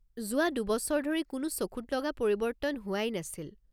যোৱা দুবছৰ ধৰি কোনো চকুত লগা পৰিৱৰ্তন হোৱাই নাছিল।